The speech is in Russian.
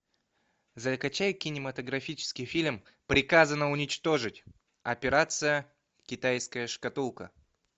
закачай кинематографический фильм приказано уничтожить операция китайская шкатулка